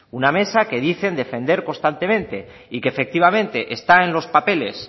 una mesa que dice defender constantemente y que efectivamente está en los papeles